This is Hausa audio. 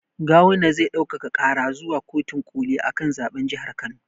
Gawuma zai ɗaukaka ƙara zuwa kotin ƙoli akan zaɓen jahar kano